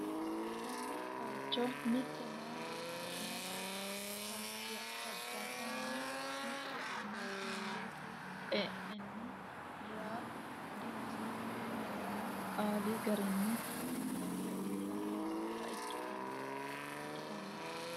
konne bayicho mitte meyaa beeto umose fajjatenni mitte ama mundeete xe'nenni reyaa dinose yaanno qali garinni mundeese uytanni noota ikkitanno.